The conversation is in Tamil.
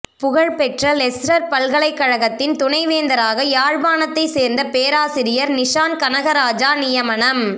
புகழ்பெற்ற லெஸ்ரர் பல்கலைக்கழகத்தின் துணைவேந்தராக யாழ்பாணத்தை சேர்ந்த பேராசிரியர் நிஷான் கனகராஜா நியமனம்